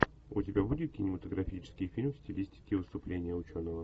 у тебя будет кинематографический фильм в стилистике выступления ученого